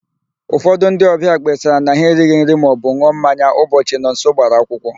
Ụfọdụ ndị ọbịa kpesara na ha erighi nri maọbụ n̄ụọ mmanya ụbọchị Nonso gbara akwụkwọ.